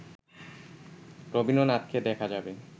রবীন্দ্রনাথকে দেখা যাবে